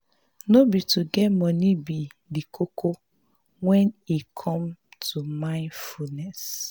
no be to get money be di koko when e comes to mindfulness